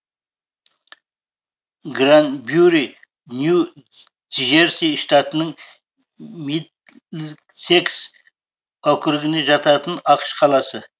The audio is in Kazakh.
гранбюри нью джерси штатының мидлсекс округіне жататын ақш қаласы